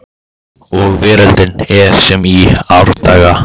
Og veröldin er sem í árdaga